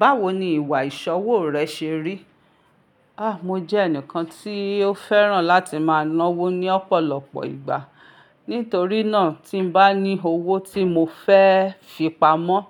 Báwo ni ìwà ìṣọwo rẹ ṣe rí? Ah, mo jẹ́ ẹnìkan tí ó fẹ́ràn láti máa ná owó ní ọ̀pọ̀lọpọ̀ ìgbà. Nítorí náà, tí n bá ní owó tí mo fẹ́ fi pamọ́,